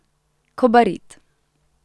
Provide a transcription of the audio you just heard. Kobarid.